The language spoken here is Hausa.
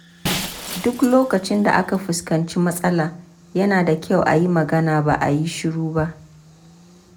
Duk lokacin da aka fuskanci matsala, yana da kyau a yi magana ba a yi shiru ba.